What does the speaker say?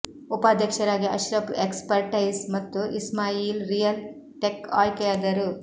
ಉಪಾಧ್ಯಕ್ಷರಾಗಿ Ashraf expertise ಮತ್ತು Ismail real tech ಆಯ್ಕೆಯಾದರು